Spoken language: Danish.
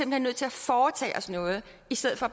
hen nødt til at foretage os noget i stedet for